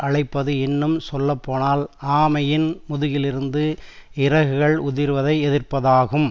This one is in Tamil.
அழைப்பது இன்னும் சொல்லப்போனால் ஆமையின் முதுகிலிருந்து இறகுகள் உதிர்வதை எதிர்பார்ப்பதாகும்